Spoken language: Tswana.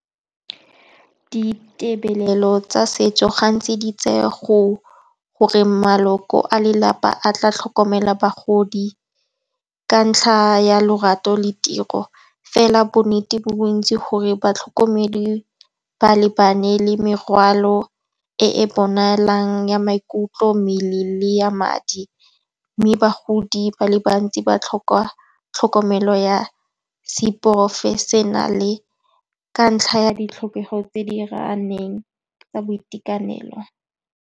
Ditirelo tsa setso ga ntsi di tsaya gore maloko a lelapa a tla tlhokomelang bagodi ka ntlha ya lorato le tiro. Fela bo nnete bo bontsi gore batlhokomedi ba lebane le merwalo e e bonalang ya maikutlo mme le ya madi. Mme bagodi ba le bantsi ba tlhoka tlhokomelo ya seporofešenale ka ntlha ya ditlhokego tse di raraneng tsa boitekanelo.